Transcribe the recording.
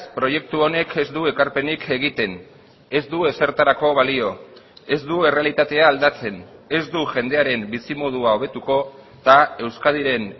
proiektu honek ez du ekarpenik egiten ez du ezertarako balio ez du errealitatea aldatzen ez du jendearen bizimodua hobetuko eta euskadiren